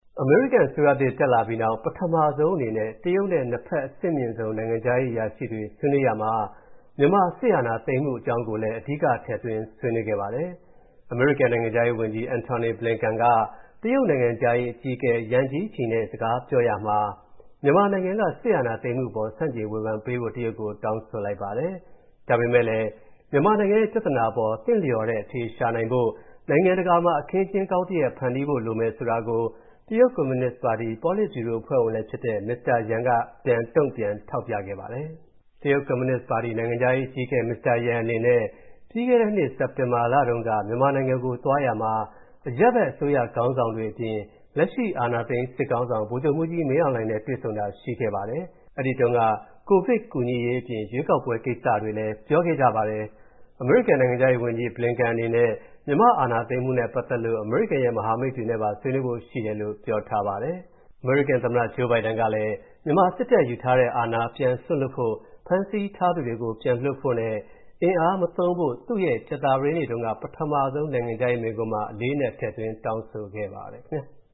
အမေရိကန်အစိုးရသစ်တက်လာပြီးနောက် ပထမဆုံးအနေနဲ့ တရုတ်နဲ့ နှစ်ဘက်အဆင့်မြင့်ဆုံး နိုင်ငံခြားရေးအရာရှိတွေ ဆွေးနွေးရာမှာ မြန်မာစစ်အာဏာသိမ်းမှု အကြောင်းကိုလည်း ထည့်သွင်းဆွေးနွေးခဲ့ပါတယ်။ အမေရိကန်နိုင်ငံခြားရေးဝန်ကြီး Antony Blinken က တရုတ်နိုင်ငံခြားရေးအကြီးအကဲ Yang Jiechi နဲ့ ပြောရာမှာ မြန်မာနိုင်ငံက စစ်အာဏာသိမ်းမှုအပေါ် ဆန့်ကျင်ဝေဖန်ပေးဖို့ တရုတ်ကို တောင်းဆိုလိုက်ပါတယ်။ ဒါပေမဲ့လည်း မြန်မမာနိုင်ငံရဲ့ ပြဿနာအပေါ် သင်လျော်တဲ့အဖြေရှာနိုင်ဖို့နိုင်ငံတကာမှာ အခင်းအကျင်းကောင်းတရပ် ဖန်တီးဖို့လိုမယ်ဆိုတာကို တရုတ်ကွန်မြူနစ်ပါတီ ပေါလစ်ဗျူရိုအဖွဲ့ဝင်လည်းဖြစ်တဲ့ Mr. Yan က တုံ့ပြန်ထောက်ပြခဲ့ပါတယ်။ တရုတ်ကွန်မြူနစ်ပါတီ နိုင်ငံခြားရေးဌာနအကြီးအကဲ Mr. Yan အနေနဲ့ ပြီးခဲ့တဲ့နှစ်စက်တင်ဘာလတုံးက မြန်မာနိုင်ငံသွားရာမှာ အရပ်ဖက်အစိုးရခေါင်းဆောင်တွေအပြင် လက်ရှိအာဏာသိမ်းစစ်ခေါင်းဆောင် ဗိုလ်ချုပ်မှူးကြီးမင်းအောင်လှိုင်နဲ့တွေ့ဆုံတာရှိခဲ့ပါတယ်။ အဲဒီတုန်းကကိုဗစ်ကူညီရေးအပြင် ရွေးကောက်ပွဲကိစ္စတွေလည်း ပြောခဲ့ကြပါတယ်။ အမေရိကန် နိုင်ငံခြားရေးဝန်ကြီး Blinken အနေနဲ့ မြန်မာ့အာဏာသိမ်းမှုနဲ့ပတ်သက်လို့ အမေရိကန်ရဲ့မဟာမိတ်နိုင်ငံတွေနဲ့ပါ ဆွေးနွေးဖို့ရှိတယ်လို့ ပြောထားပါတယ်။ အမေရိကန်သမ္မတ Joe Biden ကလည်း မြန်မာစစ်တပ်ယူထားတဲ့အာဏာ ပြန်စွန့်လွှတ်ဖို့၊ ဖမ်းဆီးထားသူတွေကိုပြန်လွှတ်ဖို့၊ အင်အားမသုံးဖို့ သူ့ရဲ့ ကြာသပတေးနေ့တုံးက ပထမဆုံးအကြိမ် နိုင်ငံခြားရေးရာမိန့်ခွန်းမှာ အလေးအနက် ထည့်သွင်းတောင်းဆိုခဲ့ပါတယ် ခင်ဗျာ။